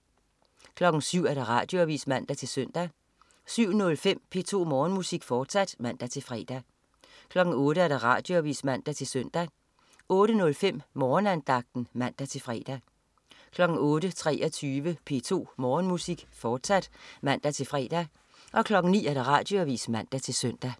07.00 Radioavis (man-søn) 07.05 P2 Morgenmusik, fortsat (man-fre) 08.00 Radioavis (man-søn) 08.05 Morgenandagten (man-fre) 08.23 P2 Morgenmusik, fortsat (man-fre) 09.00 Radioavis (man-søn)